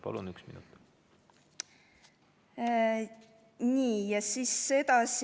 Palun, üks minut!